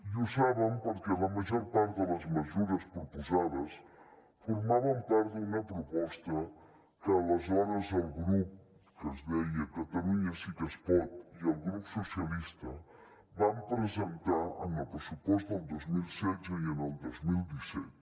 i ho saben perquè la major part de les mesures proposades formaven part d’una proposta que aleshores el grup que es deia catalunya sí que es pot i el grup dels socialistes vam presentar en el pressupost del dos mil setze i en el dos mil disset